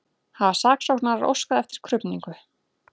Hafa saksóknarar óskað eftir krufningu